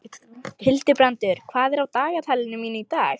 Hildibrandur, hvað er á dagatalinu mínu í dag?